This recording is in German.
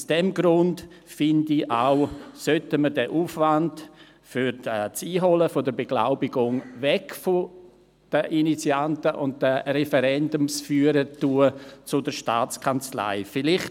Aus diesem Grund finde ich auch, dass wir den Aufwand für das Einholen der Beglaubigung weg von den Initianten und Referendumsführern hin zur Staatskanzlei transferieren sollen.